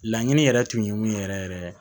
Laɲini yɛrɛ tun ye mun yɛrɛ yɛrɛ ye